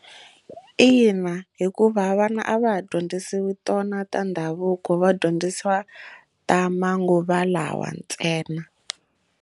Ina hikuva vana a va ha dyondzisiwi tona ta ndhavuko va dyondzisiwa ta manguva lawa ntsena.